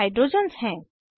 ये हाइड्रोजन्स हैं